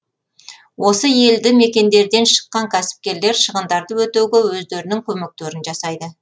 осы елді мекендерден шыққан кәсіпкерлер шығындарды өтеуге өздерінің көмектерін жасайды